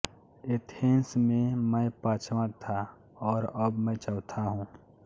Athens में मैं पाँचवाँ था और अब मैं चौथा हूँ